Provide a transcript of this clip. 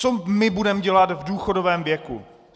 Co my budeme dělat v důchodovém věku?